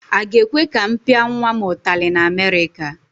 Aga ekwe ka m pịa nwa m ụtali na Amerịka?